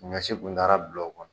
Ɲɔsi kun taara bila o kɔnɔ.